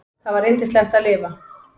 Það var yndislegt að lifa.